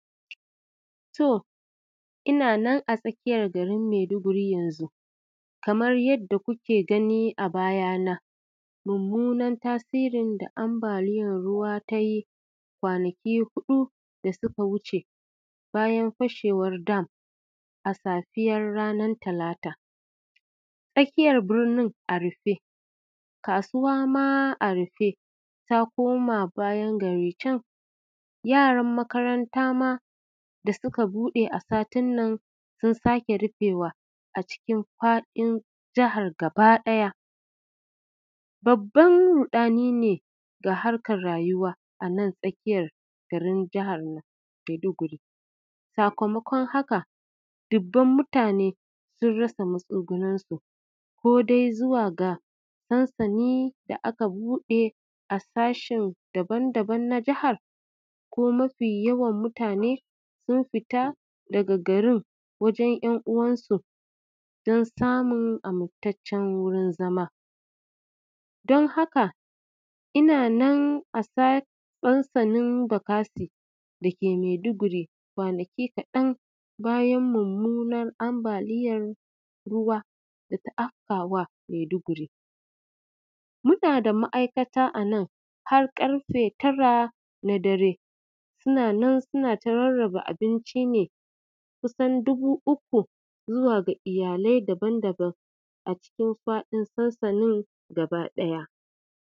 To, ina nan a tsakiyar garin Maiduguri yanzu. Kamar yadda kuke gani a bayana, mummunan tasirin da ambaliyar ruwa ta yi, kwanaki huɗu da suka wuce, bayan fashewar dam a safiyar ranar talata. Tsakiyar birnin a rufe, kasuwa ma a rufe, ta koma bayan gari can, yaran makaranta ma da suka buɗe a satin nan, sun sake rufewa a cikin faɗin jihar gaba ɗaya. Babban ruɗani ne ga harkar rayuwa, a nan tsakiyar garin jihar Maiduguri. Sakamakon haka, dubban mutane, sun rasa matsuguninsu, ko dai zuwa ga sansani da aka buɗe a sashe daban daban na jihar, ko mafi yawan mutane sun fita daga garin wajen ‘yan uwansu don samun amintaccen wurin zama. Don haka, ina nan a sansanin Bakassi da ke Maiduguri, kwanaki kaɗan bayan mummunan ambaliyar ruwa da ta afka wa Maiduguri. Muna da ma’aikata a nan, har ƙarfe tara na dare, suna nan suna ta rarraba abinci ne ne kusan dubu uku zuwa ga iyalai daban daban a cikin faɗin sansanin gaba ɗaya.